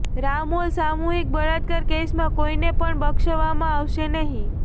રામોલ સામૂહિક બળાત્કાર કેસમાં કોઈને પણ બક્ષવામાં આવશે નહી